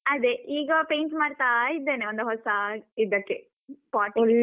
ಅದೇ ಈಗ paint ಮಾಡ್ತಾ ಇದ್ದೇನೆ ಒಂದು ಹೊಸ ಇದಕ್ಕೆ pot ಗೆ.